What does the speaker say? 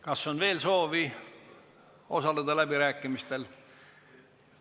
Kas on veel soovi osaleda läbirääkimistel?